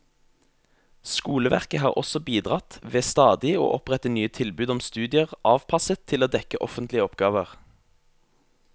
Skoleverket har også bidratt ved stadig å opprette nye tilbud om studier avpasset til å dekke offentlige oppgaver.